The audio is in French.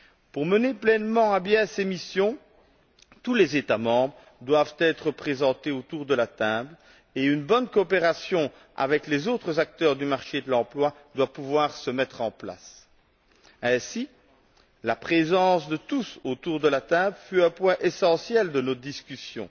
Pour mener pleinement à bien ces missions, tous les États membres doivent être représentés autour de la table et une bonne coopération avec les autres acteurs du marché de l'emploi doit pouvoir se mettre en place. Ainsi, la présence de tous autour de la table fut un point essentiel de nos discussions.